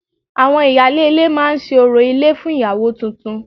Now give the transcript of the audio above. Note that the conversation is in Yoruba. Àwọn ìyálé ilé máa ṣe orò ilé fún ìyàwó tuntun